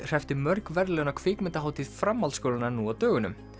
hreppti mörg verðlaun á kvikmyndahátíð framhaldsskólanna nú á dögunum